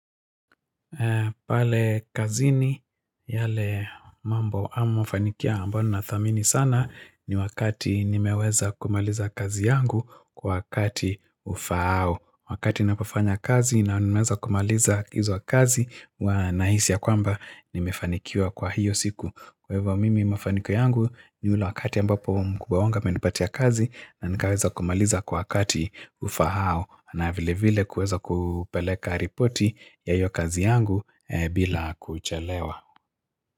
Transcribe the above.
Pale kazini yale mambo au mafanikio ambalo nathamini sana ni wakati nimeweza kumaliza kazi yangu kwa wakati ufaao. Wakati napofanya kazi na nimeweza kumaliza hizo kazi huwa nahisi ya kwamba nimefanikiwa kwa hiyo siku. Kwa hivyo mimi mafanikio yangu ni ulu wakati ambapo mkubwa wangu amenipatia kazi na nikaweza kumaliza kwa wakati ufaao. Na vile vile kuweza kupeleka ripoti ya hiyo kazi yangu bila kuchelewa.